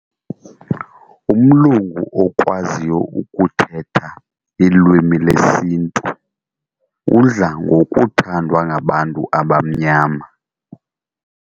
Umlungu okwaziyo ukuthetha ilwimi lesintu udla ngokuthandwa ngabantu abamnyama.